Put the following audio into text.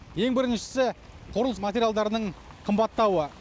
ең біріншісі құрылыс материалдарының қымбаттауы